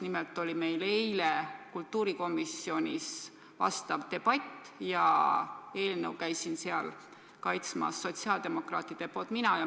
Nimelt oli meil eile kultuurikomisjonis selleteemaline debatt ja eelnõu käisin seal sotsiaaldemokraatide nimel kaitsmas mina.